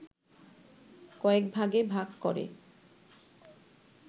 কয়েকভাগে ভাগ করে